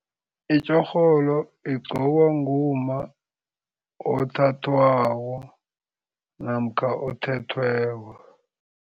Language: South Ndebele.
Itjorholo igqokwa ngumma othathwako namkha othethweko.